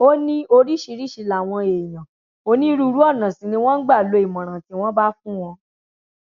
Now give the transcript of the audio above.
ó ní oríṣiríṣiì làwọn èèyàn onírúurú ọnà sì ni wọn ń gbà lo ìmọràn tí wọn bá fún wọn